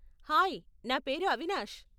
Hi, నా పేరు అవినాష్.